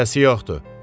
Ərizəsi yoxdur.